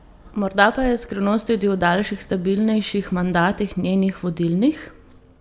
Morda pa je skrivnost tudi v daljših, stabilnejših mandatih njenih vodilnih?